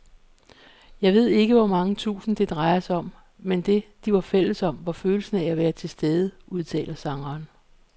Jeg ved ikke hvor mange tusind, det drejede sig om, men det, de var fælles om, var følelsen af at være tilstede, udtaler sangeren.